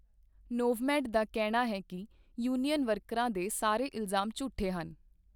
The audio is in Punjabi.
ਨੋਵਮੇਡ ਦਾ ਕਹਿਣਾ ਹੈ ਕਿ ਯੂਨੀਅਨ ਵਰਕਰਾਂ ਦੇ ਸਾਰੇ ਇਲਜ਼ਾਮ ਝੂਠੇ ਹਨ।